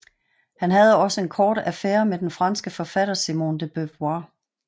Han havde også en kort affære med den franske forfatter Simone de Beauvoir